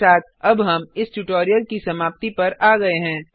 इसी के साथ अब हम इस ट्यूटोरियल की समाप्ति पर आ गए हैं